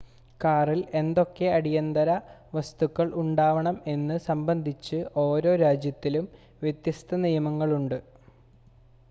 കാറിൽ എന്തൊക്കെ അടിയന്തര വസ്തുക്കൾ ഉണ്ടാവണം എന്നത് സംബന്ധിച്ച് ഓരോ രാജ്യത്തിലും വ്യത്യസ്ത നിയമങ്ങളുമുണ്ട്